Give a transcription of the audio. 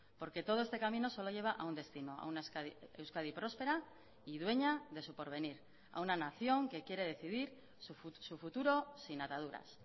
porque todo este camino solo lleva a un destino a una euskadi próspera y dueña de su porvenir a una nación que quiere decidir su futuro sin ataduras